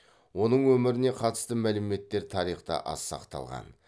оның өміріне қатысты мәліметтер тарихта аз сақталған